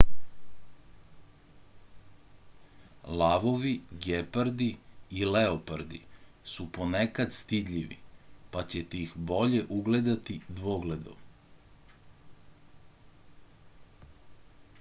lavovi gepardi i leopardi su ponekad stidljivi pa ćete ih bolje ugledati dvogledom